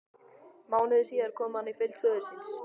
Mánuði síðar kom hann í fylgd föður síns.